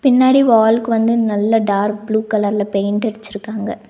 பின்னாடி வால்க்கு வந்து நல்லா டார்க் ப்ளூ கலர்ல பெயின்ட் அடிச்சிருக்காங்க.